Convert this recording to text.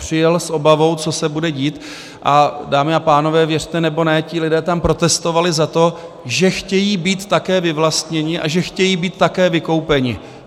Přijel s obavou, co se bude dít, a dámy a pánové, věřte nebo ne, ti lidé tam protestovali za to, že chtějí být také vyvlastněni a že chtějí být také vykoupeni.